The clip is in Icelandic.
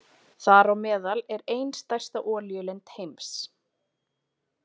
Þar á meðal er ein stærsta olíulind heims.